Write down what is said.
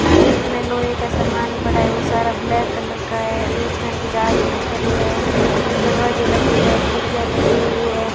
यहां बीच में लोहे का सामान पड़ा है वह सारा ब्लैक कलर का है बीच में कुछ आदमी खड़े हैं दरवाजे लगे हुए है खिड़कियां लगी हुई है।